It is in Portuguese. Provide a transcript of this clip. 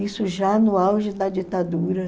Isso já no auge da ditadura.